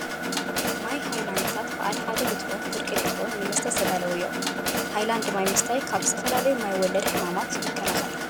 ማይ ሃይላንዲታት ብዓል ሓደ ሊትሮን ፍርቂ ሊትሮን ንምስተ ዝተዳለው እዮም ። ሃይላድ ማይ ምስታይ ካብ ዝተፈላለዩ ማይ ወለድ ሕማማት ይከላከል።